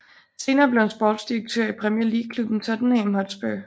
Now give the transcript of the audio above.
Senere blev han sportsdirektør i Premier League klubben Tottenham Hotspur